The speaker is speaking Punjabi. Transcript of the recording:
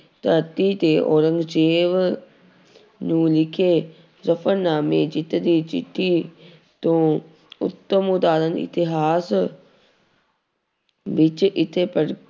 ਧਰਤੀ ਤੇ ਔਰੰਗਜ਼ੇਬ ਨੂੰ ਲਿਖੇ ਜਫ਼ਰਨਾਮੇ ਜਿੱਤ ਦੀ ਚਿੱਠੀ ਤੋਂ ਉੱਤਮ ਉਦਾਹਰਨ ਇਤਿਹਾਸ ਵਿੱਚ